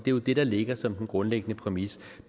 jo det der ligger som den grundlæggende præmis